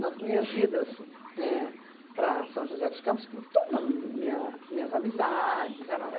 Nas minhas idas éh para São José dos Campos, que toda minha minhas amizades era lá.